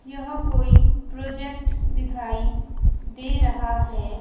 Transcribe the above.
यह कोई प्रोजेक्ट दिखाई दे रहा है।